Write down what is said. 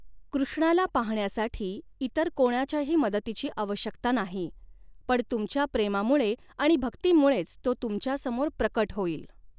कृष्णाला पाहण्यासाठी इतर कोणाच्याही मदतीची आवश्यकता नाही पण तुमच्या प्रेमामुळे आणि भक्तीमुळॆच तो तुमच्यासमोर प्रकट होईल।